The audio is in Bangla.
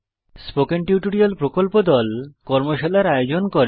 স্পোকেন টিউটোরিয়াল প্রকল্প দল কর্মশালার আয়োজন করে